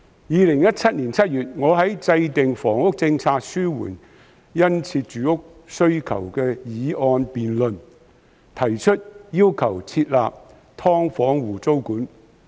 2017年7月，我在"制訂房屋政策，紓緩殷切住屋需求"議案的辯論中提出設立"劏房戶"租管。